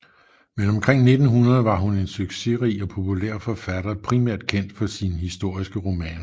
Men omkring 1900 var hun en succesrig og populær forfatter primært kendt for sine historiske romaner